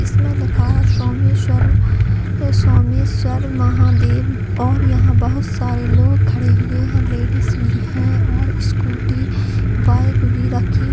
इसमें लिखा है सोमेशर स्वमेस्वर महादेव और यहा बहुत सारे लोग खड़े हुए है लेडीज भी है और स्कूटी बाइक भी रखी--